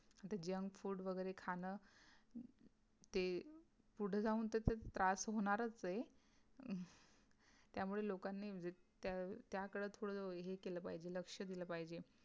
तर junk food वगैरे खाणं, ते पुढं जाऊन त्याच त्रास होणारच आहे त्यामुळे लोकांनी जे त त्या काळात थोडं हे केलं पाहिजे लक्ष दिल पाहिजे